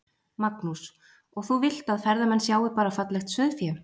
Magnús: Og þú vilt að ferðamenn sjái bara fallegt sauðfé?